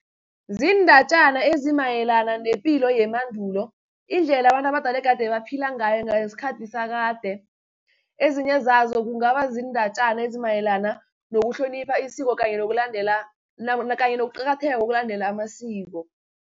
Ziindatjana ezimayelana nepilo yemandulo, indlela abantu abadala egade baphila ngayo ngesikhathi sakade. Ezinye zazo kungaba ziindatjana ezimayelana nokuhlonipha isiko, kanye nokuqakatheka kokulandela amasiko.